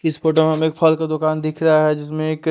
इस फोटो में हमें एक फल का दुकान दिख रहा है जिसमें एक--